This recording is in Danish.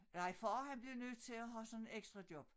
Nej far han blev nødt til at have sådan et ekstrajob